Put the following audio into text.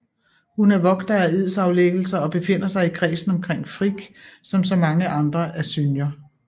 Hun er vogter af edsaflæggelser og befinder sig i kredsen omkring Frigg som så mange andre asynjer